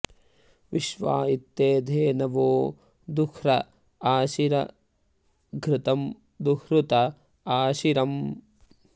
विश्वा॒ इत्ते॑ धे॒नवो॑ दुह्र आ॒शिरं॑ घृ॒तं दु॑ह्रत आ॒शिर॑म्